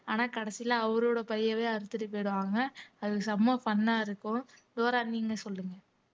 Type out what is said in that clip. ஆனா கடைசியில அவரோட பையவே அறுத்துட்டு போயிடுவாங்க அது செம fun ஆ இருக்கும் டோரா நீங்களே சொல்லுங்க